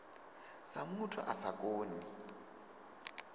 sa muthu a sa koni